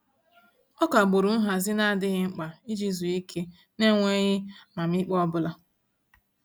Ọ kagburu nhazị n'adịghị mkpa iji zuo ike n'enweghị amamiikpe ọbụla.